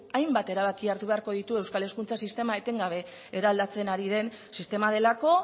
hainbat erabaki hartu beharko ditu euskal hezkuntza sistema etengabe eraldatzen ari den sistema delako